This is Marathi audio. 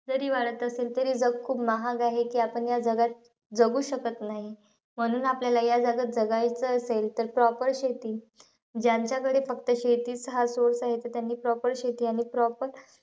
जरी वाढत असेल तरी, जग खूप महाग आहे. की आपण या जगात जगू शकत नाही. म्हणून आपल्याला, या जगात जगायचं असेल तर proper शेती. ज्यांच्याकडे फक्त शेतीचं हा source आहे. त त्यांनी proper शेती आणि proper,